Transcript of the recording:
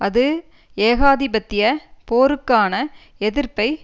அது ஏகாதிபத்திய போருக்கான எதிர்ப்பை